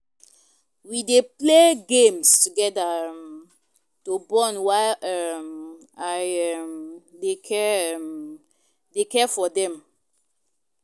We dey play games together um to bond while um I um dey care um dey care for dem.